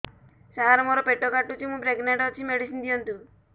ସାର ମୋର ପେଟ କାଟୁଚି ମୁ ପ୍ରେଗନାଂଟ ଅଛି ମେଡିସିନ ଦିଅନ୍ତୁ